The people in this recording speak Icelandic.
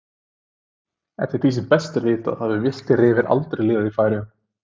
Eftir því sem best er vitað hafa villtir refir aldrei lifað í Færeyjum.